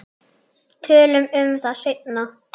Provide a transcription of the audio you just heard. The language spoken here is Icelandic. Tölum um það seinna.